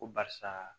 Ko barisa